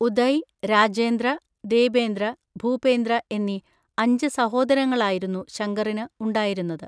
ഉദയ്, രാജേന്ദ്ര, ദേബേന്ദ്ര, ഭൂപേന്ദ്ര എന്നീ അഞ്ച് സഹോദരങ്ങളായിരുന്നു ശങ്കറിന് ഉണ്ടായിരുന്നത്.